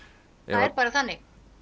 það er bara þannig